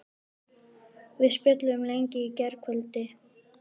Við spjölluðum lengi í gærkvöldi.